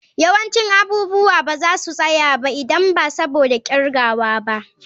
Yawancin abubuwa ba za su tsaya ba idan ba saboda kirgawa ba.